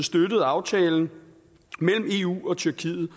støtet aftalen mellem eu og tyrkiet